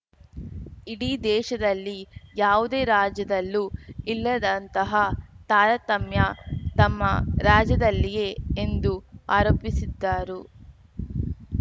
ಇಡೀ ದೇಶದಲ್ಲಿ ಯಾವುದೇ ರಾಜ್ಯದಲ್ಲೂ ಇಲ್ಲದಂತಹ ತಾರತಮ್ಯ ತಮ್ಮ ರಾಜ್ಯದಲ್ಲಿಯೇ ಎಂದು ಆರೋಪಿಸಿದ್ದರು